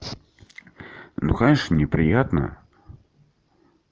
ну конечно неприятно